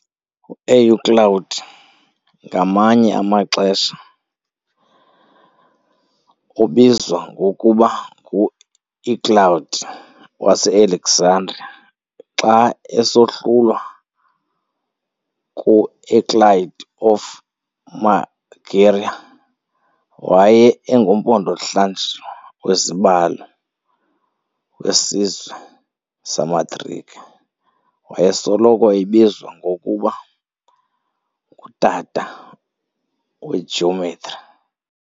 UEuclid, ngamanye amaxesha ubizwa ngokuba nguEuclid wase Alexandria xa esohlulwa kuEuclid of Megara, waye engumpondo zihlanjiwe wezibalo wesizwe samaGrike, wayesoloko ebizwa ngokuba ng"utata weGeometry".